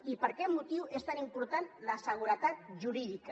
i per aquest motiu és tan important la seguretat jurídica